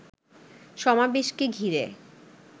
সমাবেশকে ঘিরে